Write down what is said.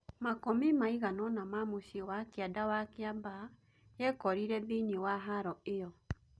Makũmi maiganona ma mũciĩ wa kianda wa Kiambaa, yekorire thĩine wa haro ĩyo